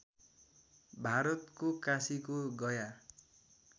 भारतको काशीको गया